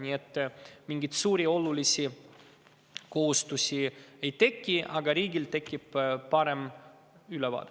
Nii et mingeid suuri ja olulisi kohustusi ei teki, aga riigil on edaspidi parem ülevaade.